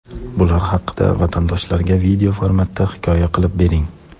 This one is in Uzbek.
bular haqida vatandoshlarga video formatda hikoya qilib bering.